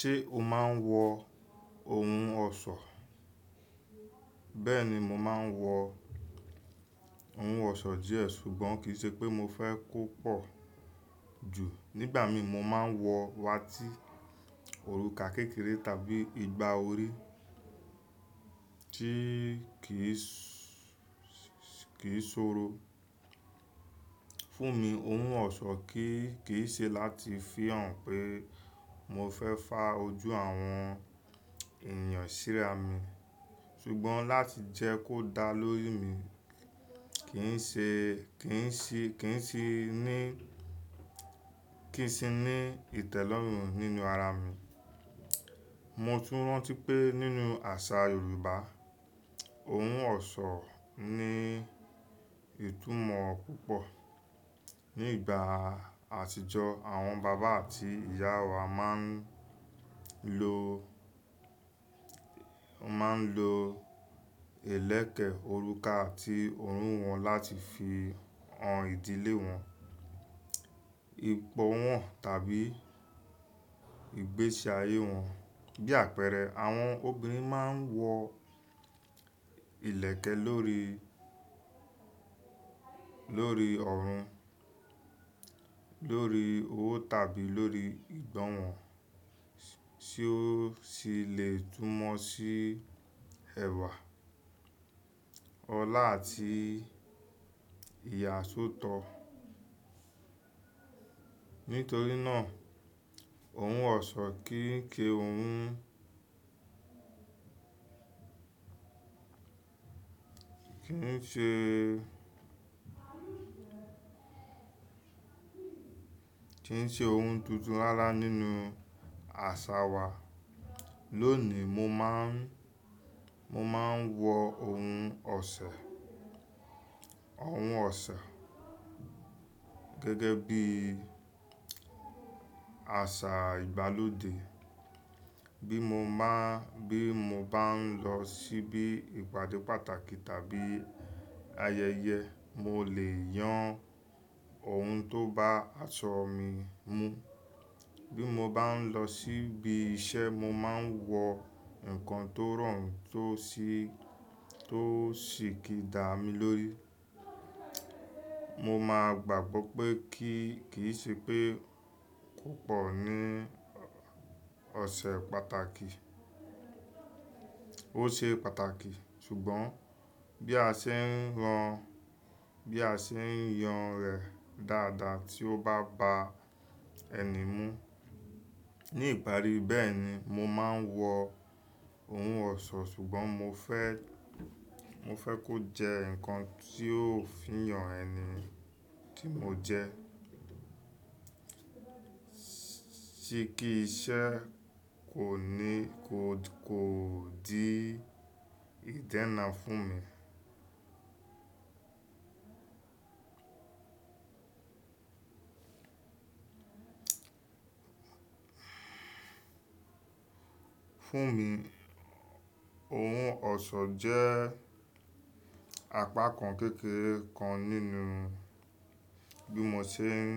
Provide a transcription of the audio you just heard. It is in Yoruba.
Ṣé o máa ń wọ ohun ọ̀ṣọ́? Bẹ́ẹ̀ni, mo máa ń wọ ohun ọ̀ṣọ́ díẹ̀ ṣùgbọ́n kì í ṣe pé mo fẹ́ kó pọ̀ jù. Nígbà mi mo máa ń wọ wátí, òrùka kékeré tàbí igbá orí tí kì í ki sọ̀rọ̀. Fún mi, ohun ọ̀ṣọ́ kì í ṣe láti fihàn pé mo fẹ́ fá ojú àwọn ènìyàn síra mi, ṣùgbọ́n láti jẹ́ kó dá lórí mi, kì í ṣe, kì í ṣe ní, kì í ṣi ní ìtẹ́lọ́rùn nínú ara mi. Mo tún rántí pé nínú àṣà Yorùbá, ohun ọ̀ṣọ́ ní ìtumọ̀ púpọ̀. Ní ìgbà àtijọ́ àwọn bàbá àti ìyá wa máa ń lo, máa ń lo ilẹ̀kẹ̀, òrùka àti òrún wọn láti fi han ìdílé wọn, ipò wọn tàbí ìgbésí ayé wọn. Bí àpẹẹrẹ, àwọn obìnrin máa ń wọ ilẹ̀kẹ̀ lórí, lórí ọrùn, lórí owó, tàbí lórí ìgbọ́n wọn, tí ó sì le túmọ̀ sí ẹwà, ọlá àti ìyàsọ́tọ̀. Nítorí náà, ohun ọ̀ṣọ́ kì í ṣe ohun, kì í ṣe, kì í ṣe ohun tuntun rárá nínú àṣà wa. Lónìí mo máa ń, mo máa ń wọ ohun ọ̀ṣẹ́, ohun ọ̀ṣẹ́ gẹ́gẹ́ bí àṣà ìgbàlódé. Bí mo bá, bí mo bá ń lọ síbi ìpàdé pàtàkì tàbí ayẹyẹ, mo lè yan ohun tó bá aṣọ mi mú. Bí mo bá ń lọ síbi iṣẹ́, mo máa ń wọ nǹkan tó rọrùn tó sì, tó sì kí dà mí lórí. Mo máa gbàgbọ́ pé kíì ṣe pé kò pọ̀ ní ọ̀ṣẹ̀ pàtàkì. Ó ṣe pàtàkì, ṣùgbọ́n bí a ṣe ń ran, bí a ṣe ń yan rẹ̀ dáadáa tí ó bá ba ẹni mú. Ni ìparí bẹ́ẹ̀ni, mo máa ń wọ ohun ọ̀ṣọ́ ṣùgbọ́n mo fẹ́, mo fẹ́ kó jẹ́ ǹkan tí yóò fihàn ẹni tí mo jẹ́. Ti kí iṣẹ́ kò ní, kò dí ìdẹ́nà fún mi. Fún mi, ohun ọ̀ṣọ́ jẹ́ apakan kékeré kan nínú bí mo ṣe ń,